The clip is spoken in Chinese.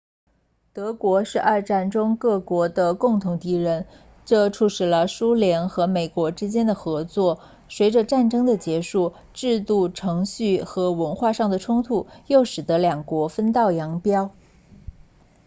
德国是二战中各国的共同敌人这促进了苏联和美国之间的合作随着战争的结束制度程序和文化上的冲突又使得两国分道扬镳